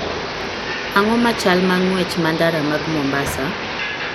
Ang�o ma chal ma ng�wech ma ndara mag Mombasa?